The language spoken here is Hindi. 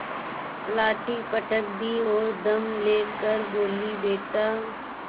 लाठी पटक दी और दम ले कर बोलीबेटा